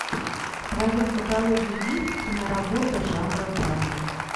в твоем каталоге есть киноработа жанра драма